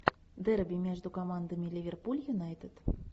дерби между командами ливерпуль юнайтед